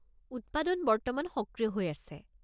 উৎপাদন বর্তমান সক্রিয় হৈ আছে।